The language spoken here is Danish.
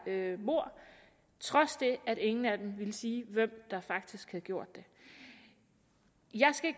mord trods at ingen af dem ville sige hvem der faktisk havde gjort det jeg skal